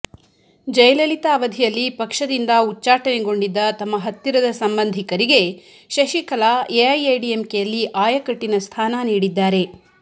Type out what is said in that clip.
ಜಯಲಲಿತಾ ಅವಧಿಯಲ್ಲಿ ಪಕ್ಷದಿಂದ ಉಚ್ಚಾಟನೆಗೊಂಡಿದ್ದ ತಮ್ಮ ಹತ್ತಿರದ ಸಂಬಂಧಿಕರಿಗೆ ಶಶಿಕಲಾ ಎಐಎಡಿಎಂಕೆಯಲ್ಲಿ ಅಯಕಟ್ಟಿನ ಸ್ಥಾನ ನೀಡಿದ್ದಾರೆ